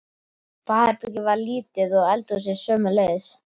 Baðherbergið var lítið og eldhúsið sömuleiðis.